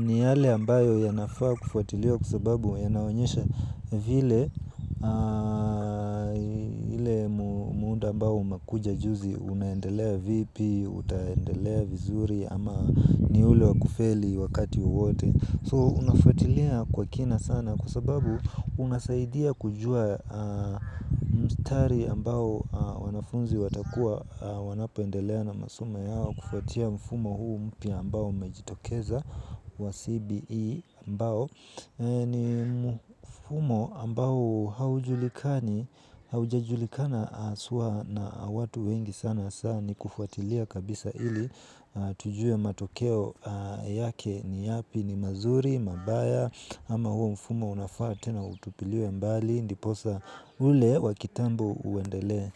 ni yale ambayo ya nafaakufuatiliwa kwa sababu ya naonyesha vile muda ambayo umekuja juzi unaendelea vipi, utaendelea vizuri ama ni ule wakufeli wakati wowote So unafuatilia kwa kina sana kwasababu unasaidia kujua mstari ambao wanafunzi watakua wanapoendelea na masomo yao kufuatia mfumo huu mpya ambao umejitokeza wa CBE ambao. Ni mfumo ambao haujulikani, haujajulikana haswa na watu wengi sana sana ni kufuatilia kabisa ili tujue matokeo yake ni yapi ni mazuri, mabaya ama huo mfumo unafaa tena utupiliwe mbali. Ndiposa ule wakitambo uendelee.